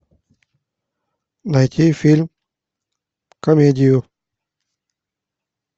найти фильм комедию